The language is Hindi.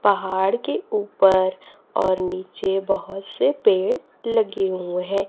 पहाड़ के ऊपर और नीचे बहोत से पेड़ लगे हुए हैं।